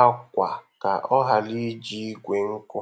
akwa ka ọ ghara iji igwe nkụ.